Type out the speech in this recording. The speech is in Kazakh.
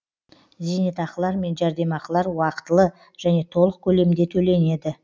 зейнетақылар мен жәрдемақылар уақытылы және толық көлемде төленеді